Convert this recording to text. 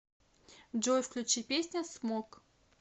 джой включи песня смог